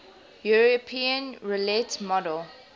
european roulette model